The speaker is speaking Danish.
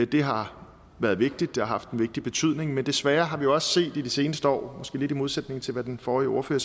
det har været vigtigt det har haft en vigtig betydning men desværre har vi jo også set i de seneste år måske lidt i modsætning til hvad den forrige ordfører